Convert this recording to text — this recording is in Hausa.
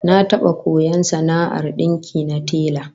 Na taba koyon sana'ar dinki na tela